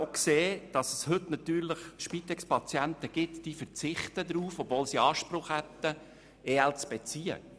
Auch gibt es heute Spitexpatienten, die auf EL verzichten, obwohl sie Anspruch darauf hätten.